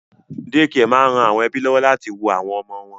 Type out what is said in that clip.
Dékià máa ń ran àwọn ẹ́bí lọ́wọ́ láti wo àwọn ọmọ wọn